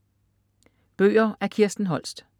Bøger af Kirsten Holst